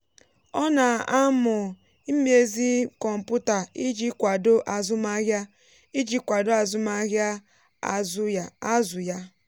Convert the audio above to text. ọ na-amụ imezi kọmpụta iji kwado azụmahịa iji kwado azụmahịa azụ ya.